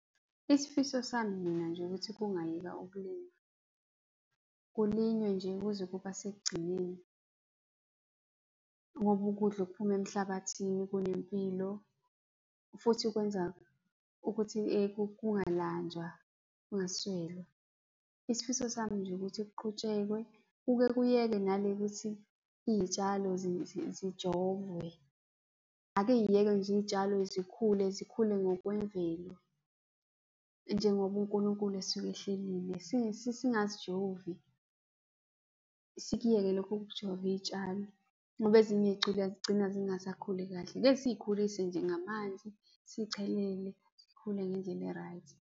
Isifiso sami mina nje ukuthi kungayekwa ukulinywa, kulinywe nje kuze kube sekugcineni, ngoba ukudla okuphuma emhlabathini kunempilo futhi kwenza ukuthi kungalanjwa, kungaswelwa. Isifiso sami nje ukuthi kuqhutshekwe, kuke kuyekwe nale yokuthi iy'tshalo zijovwe. Ake yiyekwe nje iy'tshalo zikhule, zikhule ngokwemvelo njengoba uNkulunkulu esuke ehlelile. Singazijovi, sikuyeke lokhu ukujova iy'tshalo ngoba ezinye zigcina zingasakhuli kahle. Ake siy'khulise nje ngamanzi, sizicelele, zikhule ngendlela e-right.